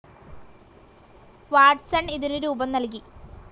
Watson ഇതിനു രൂപം നൽകി.